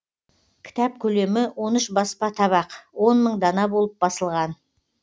кітап көлемі он үш баспа табақ он мың дана болып басылған